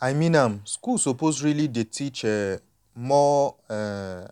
i mean am schools suppose really dey teach um more um